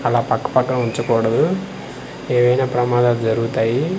అలా పక్క పక్కన వుంచకూడదు ఏవైనా ప్రమాదాలు జరుగుతాయి .